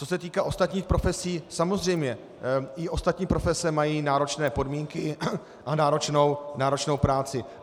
Co se týká ostatních profesí, samozřejmě i ostatní profese mají náročné podmínky a náročnou práci.